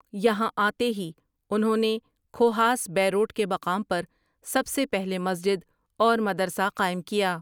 یہاں آتے ہی انہوں نے کھوہاس بیروٹ کے مقام پر سب سے پہلے مسجد اور مدرسہ قائم کیا ۔